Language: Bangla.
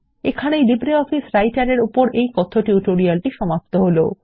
এখানেই লিব্রিঅফিস রাইটার এর এই কথ্য টিউটোরিয়ালটি সমাপ্ত হলো